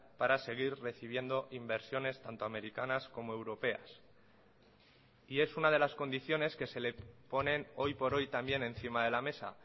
para seguir recibiendo inversiones tanto americanas como europeas y es una de las condiciones que se le ponen hoy por hoy también encima de la mesa